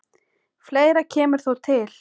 Fleira kemur þó til.